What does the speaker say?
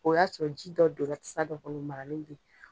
O y'a sɔrɔ ji dɔ don la tasa dɔ kɔnɔ maralen bɛ ye.